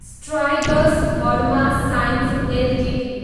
Strides Pharma Science Ltd